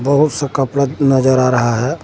बहुत सा कपड़ा नजर आ रहा है।